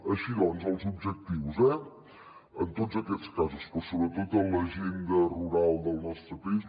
així doncs els objectius eh en tots aquests casos però sobretot en l’agenda rural del nostre país